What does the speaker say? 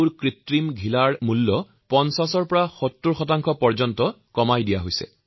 কৃত্ৰিম আঠুৰ খৰচো নিয়ন্ত্ৰণ কৰি ৫০ৰ পৰা ৭০ পৰ্যন্ত কম কৰা হৈছে